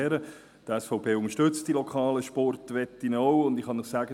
Die SVP unterstützt die lokalen Sportwetten auch, und ich kann Ihnen sagen: